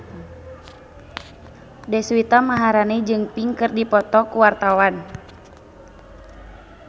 Deswita Maharani jeung Pink keur dipoto ku wartawan